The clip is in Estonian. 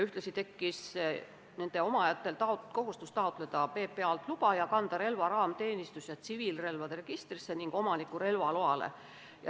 Ühtlasi tekitas see nende omajatele kohustuse taotleda PPA-lt vastavat luba ning kanda relvaraam teenistus- ja tsiviilrelvade registrisse ja omaniku relvaloale.